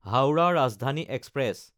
Howrah Rajdhani express